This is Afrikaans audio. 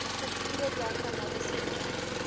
strukture diagramaties voor